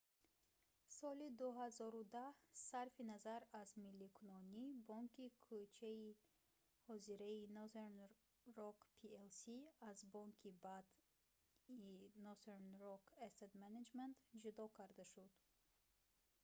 соли 2010 сарфи назар аз милликунонӣ бонки кӯчаи ҳозираи northern rock plc аз бонки бад"‑и northern rock asset management ҷудо карда шуд